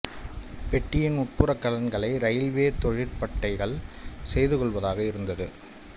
பெட்டியின் உட்புற கலன்களை இரயில்வே தொழிற்பட்டைகள் செய்து கொள்வதாக இருந்தது